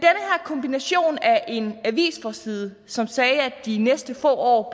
kombination af en avisforside som sagde at de næste få år